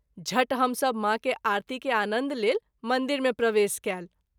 झट हम सभ माँ के आरती के आनन्द लेल मंदिर मे प्रवेश कएल।